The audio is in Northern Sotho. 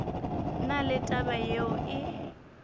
na le taba yeo e